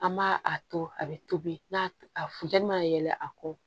An b'a a to a bɛ tobi n'a a funtɛni ma yɛlɛ a kɔ